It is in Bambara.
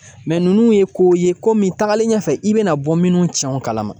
ninnu ye kow ye ko min tagalen ɲɛfɛ i bɛna bɔ minnu tiɲɛ o kalama